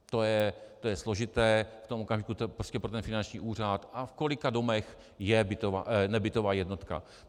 To je složité, v tom okamžiku to je prostě pro ten finanční úřad, a v kolika domech je nebytová jednotka.